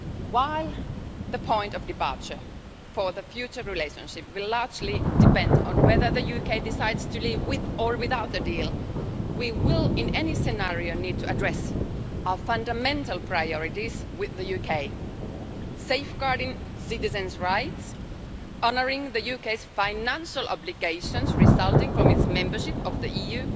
While the point of departure for the future relationship will largely depend on whether the UK decides to leave with or without a deal, we will in any scenario need to address our fundamental priorities with the UK safeguarding citizens' rights, honouring the UK's financial obligations resulting from its membership of the